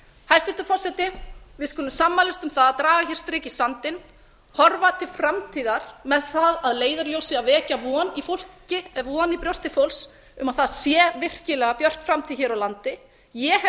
hæstvirtur forseti við skulum sammælast um að draga strik í sandinn horfa til framtíðar með það að leiðarljósi að vekja von í brjósti fólks um að það sé virkilega björt framtíð hér á landi ég hef